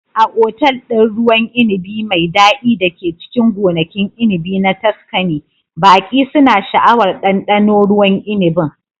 A otal ɗin ruwan inibi mai daɗi da ke cikin gonakin inibi na Tuscany, baƙi suna sha'awar ɗanɗano ruwan inibin.